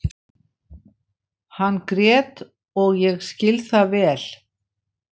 Hann grét og ég skil það vel.